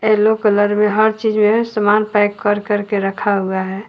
Yellow colour में हर चीज में सामान पैक कर करके रखा हुआ है।